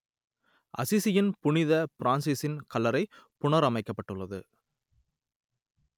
அசிசியின் புனித பிரான்சிசின் கல்லறை புனரமைக்கப்பட்டுள்ளது